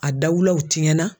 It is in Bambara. A dawulaw tiyɛnna.